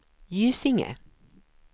Gysinge